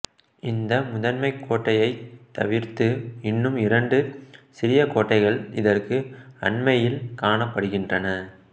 இந்த முதன்மைக் கோட்டையைத் தவிர்த்து இன்னும் இரண்டு சிறிய கோட்டைகள் இதற்கு அண்மையில் காணப்படுகின்றன